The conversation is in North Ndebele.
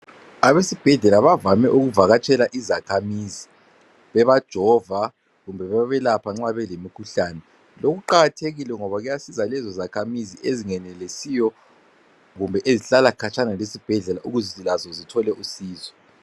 Abesibhedlela bavame ukuvakatshela izakhamizi bebajova kumbe bebelapha nxa belemikhuhlane. Lokhu kuqakathekile ngoba kuyasiza lezo zakhamizi ezingenelisiyo kumbe ezihlala khatshana lezibhedlela ukuze lazo zithole usizo.